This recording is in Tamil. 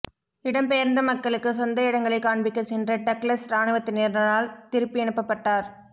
இடம்பெயர்ந்த மக்களுக்கு சொந்த இடங்களை காண்பிக்க சென்ற டக்ளஸ் இராணுவத்தினரால் திருப்பிஅனுப்பப்பட்டார்